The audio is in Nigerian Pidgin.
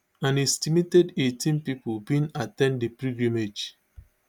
an estimated eighteenm pipo bin at ten d di pilgrimage